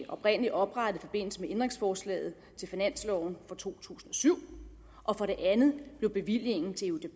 oprindelig oprettet i forbindelse med ændringsforslaget til finansloven for to tusind og syv og for det andet blev bevillingen til